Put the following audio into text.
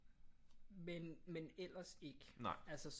Men men ellers ikke